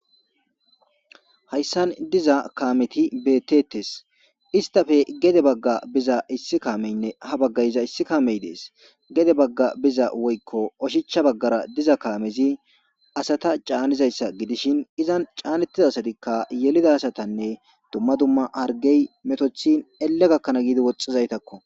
Hayssan diza kaameti betetes istafe gede bagga biza issi kaameynne ha baggay iza issi kaamey dees gede bagga biza woykko oshicha baggara diza kaamezi asata caanizayssa gidishin izan caanettiza asatikka yelida asatanne dumma dumma hargey metothin elle gakkanaa giidi woxxizaytakko.